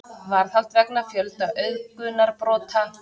Varðhald vegna fjölda auðgunarbrota